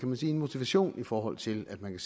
man sige en motivation i forhold til at man